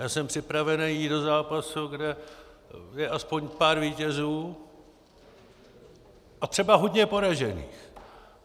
Já jsem připravený jít do zápasu, kde je aspoň pár vítězů a třeba hodně poražených.